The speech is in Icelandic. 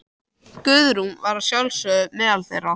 Guðrún var að sjálfsögðu meðal þeirra.